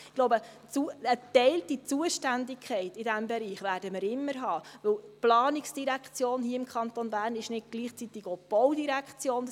Ich glaube, eine geteilte Zuständigkeit in diesem Bereich werden wir immer haben, weil die Planungsdirektion hier im Kanton Bern nicht gleichzeitig auch die Baudirektion ist.